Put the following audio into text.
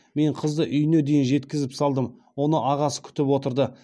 мен қызды үйіне дейін жеткізіп салдым оны ағасы күтіп отырды